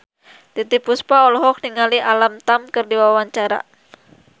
Titiek Puspa olohok ningali Alam Tam keur diwawancara